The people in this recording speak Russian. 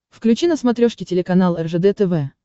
включи на смотрешке телеканал ржд тв